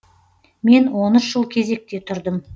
мен он үш жыл кезекте тұрдым